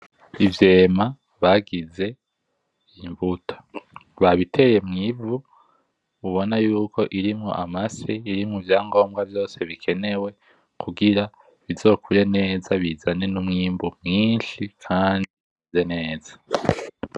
Ivyema bagize imbuto babiteye mwivu mubona yuko irimwo amase irimwo ivyangomba vyose bikenewe kugira bizokure neza bizane N’umwimbu mwinshi kandi bise neza.